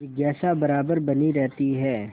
जिज्ञासा बराबर बनी रहती है